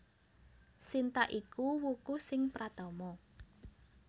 Sinta iku wuku sing pratama